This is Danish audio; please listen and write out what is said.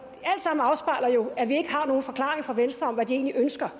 sammen afspejler jo at vi ikke har nogen forklaring fra venstre om hvad de egentlig ønsker